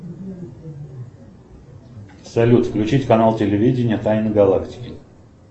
салют включить канал телевидения тайны галактики